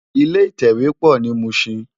Ilé itèwé pò ni Mushin